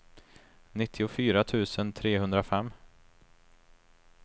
nittiofyra tusen trehundrafem